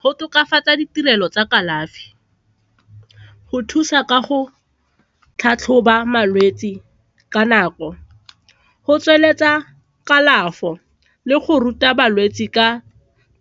Go tokafatsa ditirelo tsa kalafi, go thusa ka go tlhatlhoba malwetse ka nako, go tsweletsa kalafo le go ruta balwetse ka